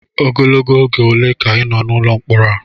Ogologo oge ole ka ị nọ n'ụlọ mkpọrọ a?